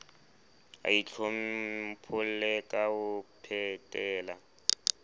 a itlhompholle ka ho phetela